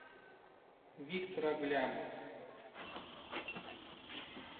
виктор аглямов